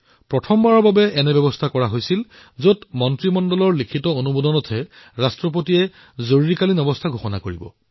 প্ৰথমবাৰলৈ এনেকুৱা ব্যৱস্থা কৰা হল যে কেবিনেটৰ লিখিত অনুমোদনৰ ভিত্তিতহে ৰাষ্ট্ৰপতিয়ে জৰুৰীকালীন অৱস্থাৰ কথা ঘোষণা কৰিব পাৰিব